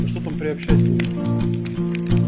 а что там приобщать было